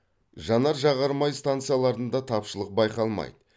жанар жағар май станцияларында тапшылық байқалмайды